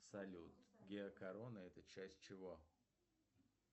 салют геокорона это часть чего